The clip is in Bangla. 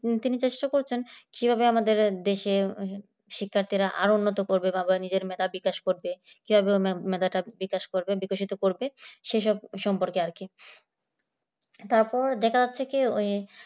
তিনি চেষ্টা করছেন কিভাবে আমাদের দেশে আর উন্নতি করবে বা নিজের মেধাবী কাজ করবে কিভাবে মেধাকে বিকাশ করবে বিকাশিত করবে সেসব সম্পর্কে আর কি তারপর দেখা যাচ্ছে কি ওই